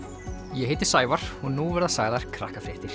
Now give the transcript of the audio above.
ég heiti Sævar og nú verða sagðar